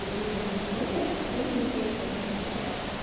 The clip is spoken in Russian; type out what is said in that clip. одни и те же герои что ты уже не хочешь про них читать